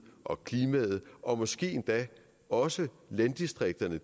og klimaet og måske endda også landdistrikterne